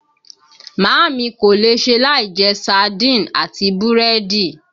Màámi kò lè ṣe láì jẹ saaádìn àti búrẹ́dì